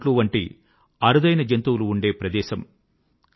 ఈ సియాచిన్ నదుల స్వచ్చమైన నీటి మూలాలు గ్లేసియర్ లు అని మనకందరికీ తెలుసు